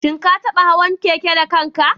Shin ka taɓa hawan keke da kanka?